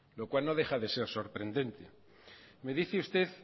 lo cual no deja de ser sorprendente me dice usted